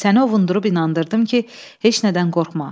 Səni ovunduru-inandırdım ki, heç nədən qorxma.